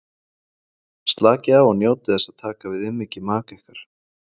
Slakið á og njótið þess að taka við umhyggju maka ykkar.